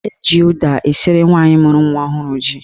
Eji ụda esiri nwaanyị mụrụ nwa ọhụrụ ji.